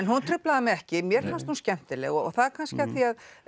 hún truflaði mig ekki mér fannst hún skemmtileg það er kannski af því að